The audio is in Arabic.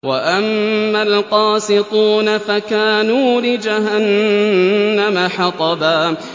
وَأَمَّا الْقَاسِطُونَ فَكَانُوا لِجَهَنَّمَ حَطَبًا